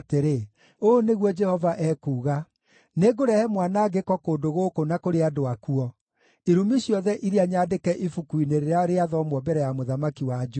‘Ũũ nĩguo Jehova ekuuga: Nĩngũrehe mwanangĩko kũndũ gũkũ na kũrĩ andũ akuo, irumi ciothe iria nyandĩke ibuku-inĩ rĩrĩa rĩathomwo mbere ya mũthamaki wa Juda.